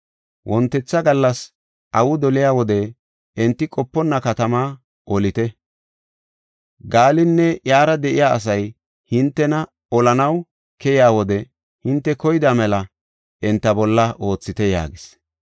Wontetha gallas awi doliya wode enti qoponna katamaa olite. Gaalinne iyara de7iya asay hintena olanaw keyiya wode hinte koyida mela enta bolla oothite” yaagis.